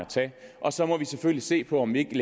og så må vi selvfølgelig se på om vi ikke